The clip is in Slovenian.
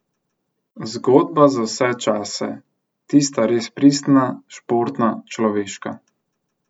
Zgodba za vse čase, tista res pristna, športna, človeška.